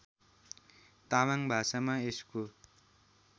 तामाङ भाषामा यसको